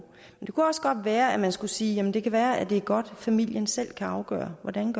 det kunne også godt være at man skulle sige at det kan være at det er godt at familien selv kan afgøre hvordan